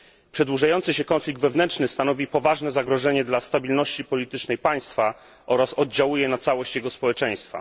Przedłużający się konflikt wewnętrzny stanowi poważne zagrożenie dla stabilności politycznej państwa oraz oddziałuje na całość jego społeczeństwa.